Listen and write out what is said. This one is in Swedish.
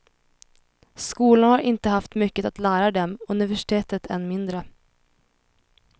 Skolan har inte haft mycket att lära dem, universitet än mindre.